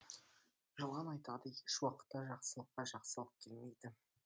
жылан айтады еш уақытта жақсылыққа жақсылық келмейді